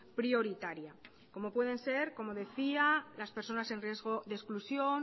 prioritaria como pueden ser como decía las personas en riesgo de exclusión